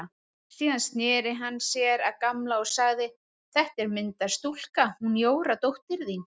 Síðan sneri hann sér að Gamla og sagði: Þetta er myndarstúlka, hún Jóra dóttir þín.